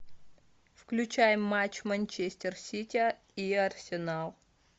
включай матч манчестер сити и арсенал